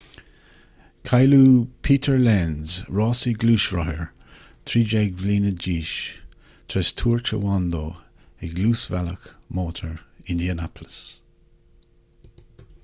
cailleadh peter lenz rásaí gluaisrothair 13 bliana d'aois tar éis tuairt a bhain dó ag luasbhealach mótair indianapolis